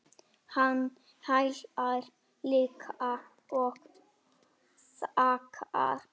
Hann hlær líka og þakkar.